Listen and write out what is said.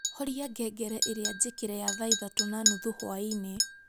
horia ngengere iria jikire ya thaa ithatu na nuthu hwaiini